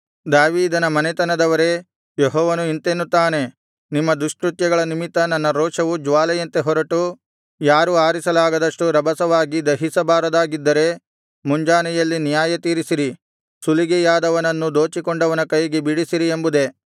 ದಾವೀದನ ಮನೆತನದವರೇ ಯೆಹೋವನು ಇಂತೆನ್ನುತ್ತಾನೆ ನಿಮ್ಮ ದುಷ್ಕೃತ್ಯಗಳ ನಿಮಿತ್ತ ನನ್ನ ರೋಷವು ಜ್ವಾಲೆಯಂತೆ ಹೊರಟು ಯಾರೂ ಆರಿಸಲಾಗದಷ್ಟು ರಭಸವಾಗಿ ದಹಿಸಬಾರದಾಗಿದ್ದರೆ ಮುಂಜಾನೆಯಲ್ಲಿ ನ್ಯಾಯತೀರಿಸಿರಿ ಸುಲಿಗೆಯಾದವನನ್ನು ದೋಚಿಕೊಂಡವನ ಕೈಯಿಂದ ಬಿಡಿಸಿರಿ ಎಂಬುದೇ